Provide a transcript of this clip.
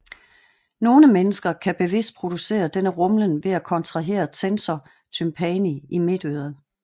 Nogle personer kan bevidst producere denne rumlen ved at kontrahere tensor tympani i midtøret